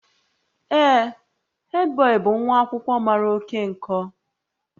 Ee, headboy bụ nwa akwụkwọ mara oke nkọ